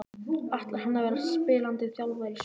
Ætlar hann að vera spilandi þjálfari í sumar?